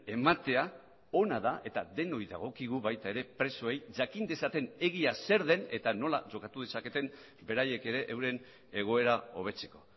ematea ona da eta denoi dagokigu baita ere presoei jakin dezaten egia zer den eta nola jokatu dezaketen beraiek ere euren egoera hobetzeko